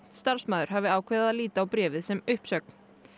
starfsmaður hafi ákveðið að líta á bréfið sem uppsögn